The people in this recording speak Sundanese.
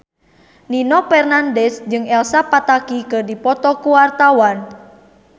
Nino Fernandez jeung Elsa Pataky keur dipoto ku wartawan